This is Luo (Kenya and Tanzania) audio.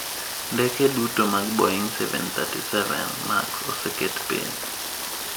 Ndeke duto mag Boeing 737 Max oseket piny.